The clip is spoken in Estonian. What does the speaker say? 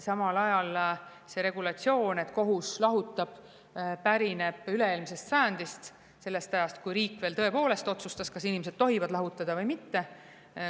Samal ajal pärineb lahutuse regulatsioon üle-eelmisest sajandist, sellest ajast, kui riik veel tõepoolest otsustas, kas inimesed tohivad lahutada või mitte.